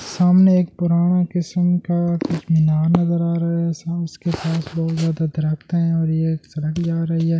सामने एक पुराने किस्म का कुछ मीनार नज़र आ रहा है उसके पास बहुत ज़्यादा दराते है और ये एक सुरंग जा रही है स--